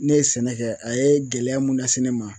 Ne ye sɛnɛ kɛ a ye gɛlɛya mun lase ne ma